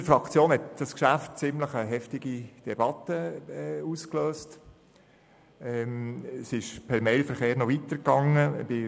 In unserer Fraktion hat dieses Geschäft eine ziemlich heftige Debatte ausgelöst, die per Mailverkehr noch weitergegangen ist.